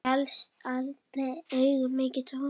Stjarft andlit, augun myrk, tóm.